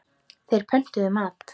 Þeir pöntuðu mat.